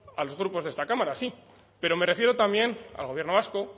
a los grupos de esta cámara sí pero me refiero también al gobierno vasco